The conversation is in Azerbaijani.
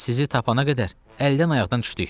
Sizi tapana qədər əldən ayaqdan düşdük.